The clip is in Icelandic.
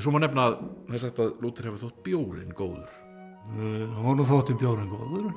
svo má nefna að er sagt að Lúther hafi þótt bjórinn góður honum þótti bjórinn góður